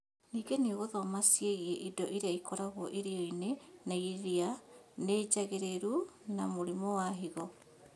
Ningĩ nĩũgũthoma ciĩgie indo irĩa ikoragwo irio-inĩ na irĩa nĩ njagĩrĩru na mũrimũ wa higo